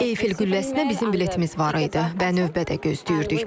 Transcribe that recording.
Eiffel qülləsinə bizim biletmiz var idi və növbə də gözləyirdik.